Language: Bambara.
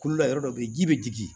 Kolo la yɔrɔ dɔ bɛ ye ji bɛ jigin